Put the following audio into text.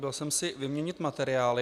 Byl jsem si vyměnit materiály.